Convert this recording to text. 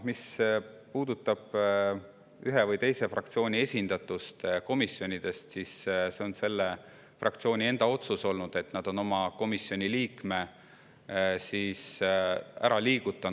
Mis puudutab ühe või teise fraktsiooni esindatust komisjonides, siis see on olnud selle fraktsiooni enda alles hiljutine otsus liigutada oma komisjoni liige keskkonnakomisjonist põhiseaduskomisjoni.